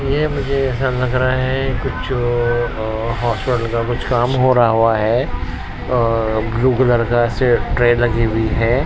ये मुझे ऐसा लग रहा है कुछ अह हॉस्पिटल का कुछ काम हो रहा हुआ है अह ब्लू कलर का ऐसे ट्रे लगी हुई है।